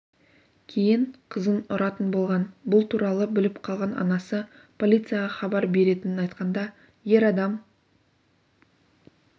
кейін қызын ұратын болған бұл туралы біліп қалған анасы полицияға хабар беретінін айтқанда ер адам